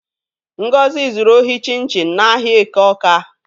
Ngozi zuru ohi chịn chịn n'ahịa Eke Óká.